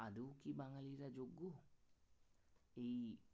এই